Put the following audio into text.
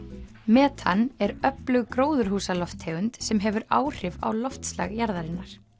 metan er öflug gróðurhúsalofttegund sem hefur áhrif á loftslag jarðarinnar